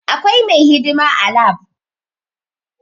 Akwai mai hidima a lab